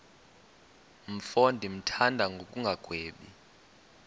mfo ndimthanda ngokungagwebi